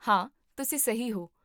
ਹਾਂ, ਤੁਸੀ ਸਹੀ ਹੋ